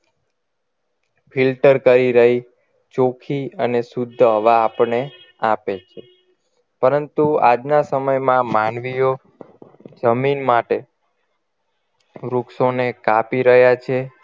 filter કરી રહી ચોખી અને શુદ્ધ હવા આપણને આપે છે પરંતુ આજના સમયમાં માનવીઓ જમીન માટે વૃક્ષોને કાપી રહ્યા છે